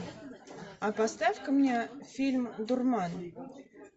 а поставь ка мне фильм дурман